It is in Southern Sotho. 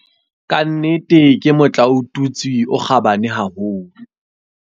Ka nnete ke motlaotutswe o kgabane haholo.